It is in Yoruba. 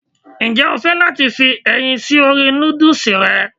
Ǹjẹ́ o fẹ́ láti fi ẹyin sí orí nódùsì rẹ?